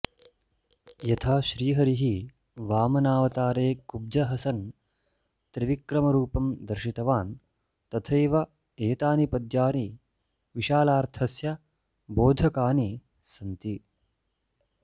यथा श्रीहरिः वामनावतारे कुब्जः सन् त्रिविक्रमरुपं दार्शितवान् तथैव एतानि पद्यानि विशालार्थस्य बोधकानि सन्ति